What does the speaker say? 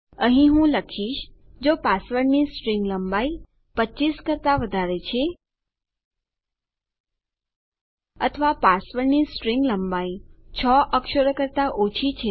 અહીં હું લખીશ જો પાસવર્ડની સ્ટ્રીંગ લંબાઈ 25 કરતા વધારે છે અથવા પાસવર્ડની સ્ટ્રીંગ લંબાઈ 6 અક્ષરો કરતા ઓછી છે